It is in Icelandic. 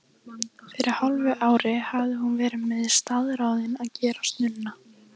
Fyrir hálfu ári hafði hún verið staðráðin að gerast nunna.